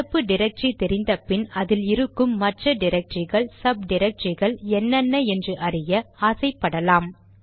நடப்பு டிரக்டரி தெரிந்தபின் அதில் இருக்கும் மற்ற டிரக்டரிகள் சப் டிரக்டரிகள் என்னென்ன என்று அறிய ஆசை படலாம்